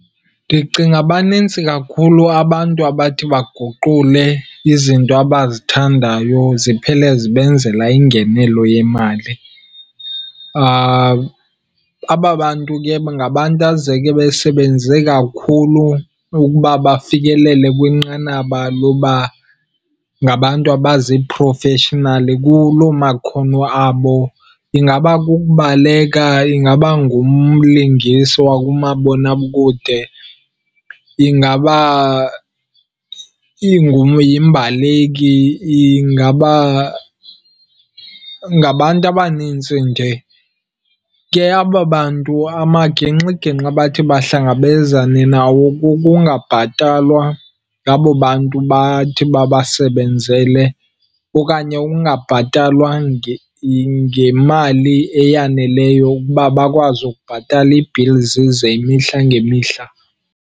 Ndicinga banintsi kakhulu abantu abathi baguqule izinto abazithandayo ziphele zibenzela ingenelo yemali. Aba bantu ke bangabantu azeke besebenze kakhulu ukuba bafikelele kwinqanaba loba ngabantu abaziphrofeshinali kuloo makhono abo. Ingaba kukubaleka, ingaba ngumlingiswa kumabonakude, ingaba yimbaleki, ingaba ngabantu abanintsi nje. Ke aba bantu amagingxigingxi abathi bahlangabezane nawo kukungabhatalwa ngabo bantu bathi babasebenzele okanye ukungabhatalwa ngemali eyaneleyo ukuba bakwazi ukubhatala ii-bills zemihla ngemihla.